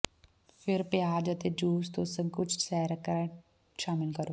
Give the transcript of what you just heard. ਫਿਰ ਪਿਆਜ਼ ਅਤੇ ਜੂਸ ਤੋਂ ਸੰਕੁਚਿਤ ਸੈਰਕ੍ਰਾਟ ਸ਼ਾਮਿਲ ਕਰੋ